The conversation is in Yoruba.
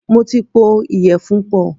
Mo ti pọ̀ ìyẹ̀fun pọ̀.